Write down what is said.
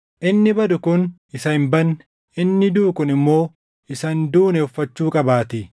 Inni badu kun isa hin badne, inni duʼu kun immoo isa hin duune uffachuu qabaatii.